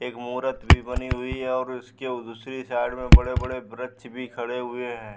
एक मूरत भी बनी हुई है और उसके ओ दूसरी साइड में बड़े-बड़े ब्रक्ष भी खड़े हुए हैं।